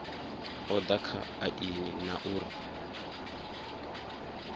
oda kha aini na uri